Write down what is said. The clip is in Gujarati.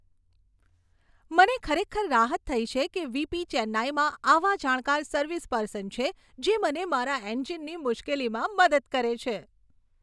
મને ખરેખર રાહત થઈ છે કે વી.પી. ચેન્નાઈમાં આવા જાણકાર સર્વિસ પર્સન છે, જે મને મારા એન્જિનની મુશ્કેલીમાં મદદ કરે છે.